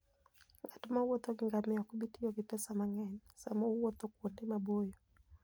Ng'at mowuotho gi ngamia ok bi tiyo gi pesa mang'eny sama owuotho kuonde maboyo.